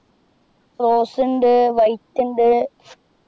Rose ഉണ്ട് white ണ്ട്